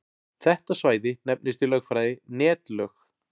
Þetta svæði nefnist í lögfræði netlög.